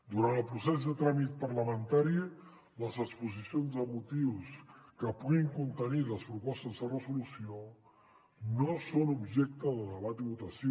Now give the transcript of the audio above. durant el procés de tràmit parlamentari les exposicions de motius que puguin contenir les propostes de resolució no són objecte de debat i votació